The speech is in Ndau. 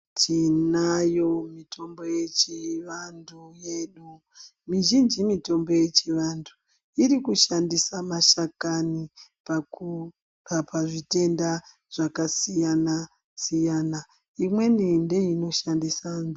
Tinayo mitombo yechivantu yedu. Mizhinji mitombo yechivantu irikushandisa mashakani pakurapa zvitenda zvakasiyana-siyana, imweni ndeinoshandisa.